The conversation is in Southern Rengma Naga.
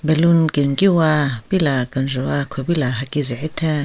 Ballon kenkiwa pila kenjvu wa khupila haki zehetheng.